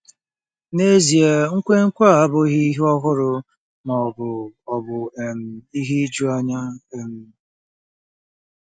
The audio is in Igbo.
N'ezie, nkwenkwe a abụghị ihe ọhụrụ ma ọ bụ ọ bụ um ihe ijuanya. um